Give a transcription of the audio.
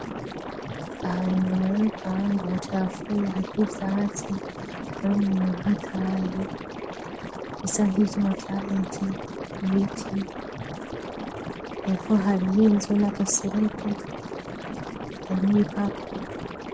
Ahana inyuma yurupangu hacafuye hariho ivyazi arabeneinobahataye bisa nk'ivyo amavyareze iwiti hevo hariho inzu n'agasereke hari n'ibipapuro.